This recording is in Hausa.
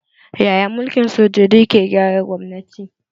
Yaya mulkin sojoji ke gyara gwamnati?